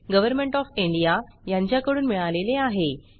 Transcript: government of India यांच्याकडून मिळालेले आहे